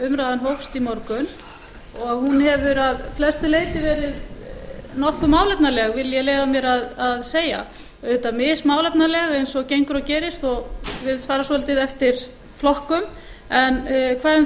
umræðan hófst í morgun og hún hefur að flestu leyti verið nokkuð málefnaleg vil ég leyfa mér að segja auðvitað mismálefnaleg eins og gengur og gerist og virðist fara svolítið eftir flokkum en hvað um